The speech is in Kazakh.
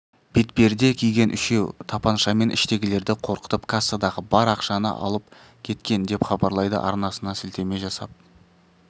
бетперде киген үшеу тапаншамен іштегілерді қорқытып кассадағы бар ақшаны алып кеткен деп хабарлайды арнасына сілтеме жасап